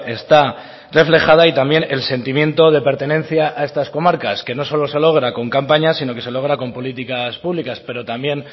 está reflejada y también el sentimiento de pertenencia a estar comarcas que no solo se logra con campañas sino que se logra con políticas públicas pero también